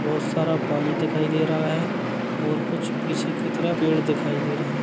--बहोत सारा पानी दिखाई दे रहा है और कुछ पीछे की तरफ पेड़ दिखाई दे रहे हैं।